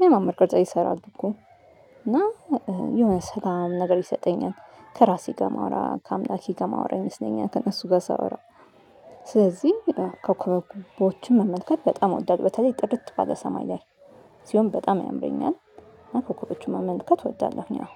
ሚያማምር ቅርጽ ይሰራሉ እኮ። እና የሆነ ሰላም ነገር ይሰጠኛል። ከራሴ ጋር ማወራ ከአምላኬ ጋር ማወራ ይመስለኛል ከእነሱ ጋር ሳወራ። ስለዚህ ኮከበክቦችን መመልከት በጣም እወዳለሁ በተለይ ጥርት ባለሰማይ ላይ። ሲሆን በጣም ያምረኛል። ኮከቦችን መመልከት እወዳለሁኝ አዎን